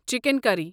chicken کری